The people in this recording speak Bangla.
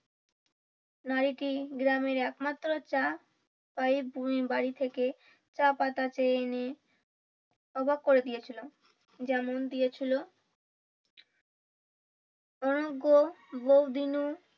নারীটি গ্রামের একমাত্র চা বাড়ি থেকে চা পাতা চেয়ে এনে অবাক করে দিয়েছিলেন যেমন দিয়েছিলো বউদিনু